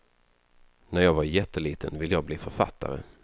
När jag var jätteliten ville jag bli författare.